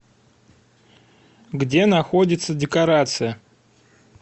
где находится декорация